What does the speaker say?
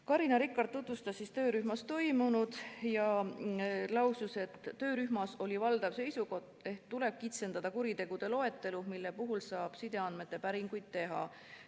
Carina Rikart tutvustas töörühmas toimunut ja lausus, et töörühmas oli valdav seisukoht, et tuleb kitsendada kuritegude loetelu, mille puhul saab sideandmete päringuid teha.